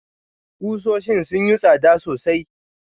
Kusoshin sun yi tsada sosai.